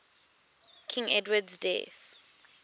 king edward's death